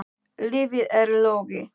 Lífið er logi.